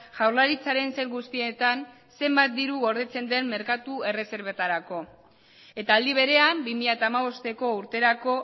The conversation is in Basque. jaurlaritzaren sail guztietan zenbat diru gordetzen den merkatu erreserbetarako eta aldi berean bi mila hamabosteko urterako